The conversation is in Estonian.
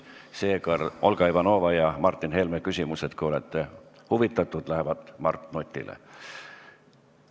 Seega, Olga Ivanova ja Martin Helme küsimused, kui te olete nende esitamisest huvitatud, lähevad Mart Nutile.